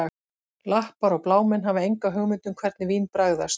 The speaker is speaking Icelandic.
Lappar og blámenn hafa enga hugmynd um hvernig vín bragðast